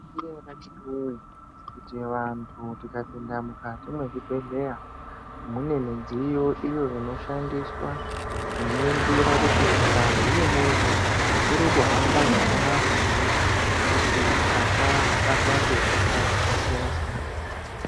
Vakiti woye kuti vantu tikapinda mukati mwezvibhedhleya, mune midziyo iyo inoshandiswa kuningira kuti ngazi yemuntu iri kuhamba zvakanaka here kuti asabatwa ngehosha dzakasiyana-siyana.